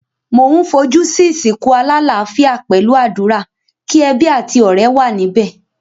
Mo n fojú si ìsìnkú alálafíà pẹ̀lu àdúrà, ki ebí àti ọ̀rẹ́ wa níbẹ̀.